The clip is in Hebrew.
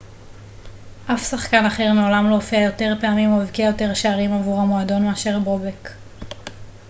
אף שחקן אחר מעולם לא הופיע יותר פעמים או הבקיע יותר שערים עבור המועדון מאשר בובק